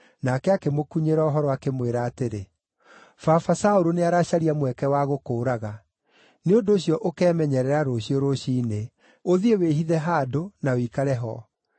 nake akĩmũkunyĩra ũhoro, akĩmwĩra atĩrĩ, “Baba Saũlũ nĩaracaria mweke wa gũkũũraga. Nĩ ũndũ ũcio ũkemenyerera rũciũ rũciinĩ; ũthiĩ wĩhithe handũ, na ũikare ho.